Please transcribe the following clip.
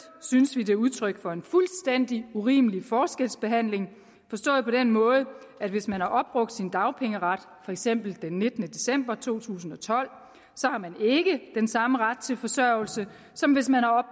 synes vi at det er udtryk for en fuldstændig urimelig forskelsbehandling forstået på den måde at hvis man har opbrugt sin dagpengeret for eksempel den nittende december to tusind og tolv så har man ikke den samme ret til forsørgelse som hvis man har